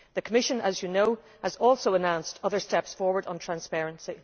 The Commission, as you know, has also announced other steps forward on transparency.